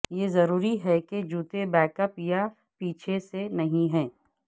یہ ضروری ہے کہ جوتے بیک اپ یا پیچھے سے نہیں ہیں